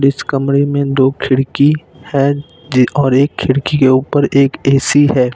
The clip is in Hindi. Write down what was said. इस कमरे में दो खिड़की है और एक खिड़की के ऊपर एक ए_सी है।